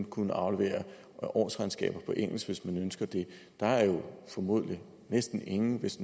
kunne aflevere årsregnskaber på engelsk hvis man ønsker det der er jo formodentlig næsten ingen hvis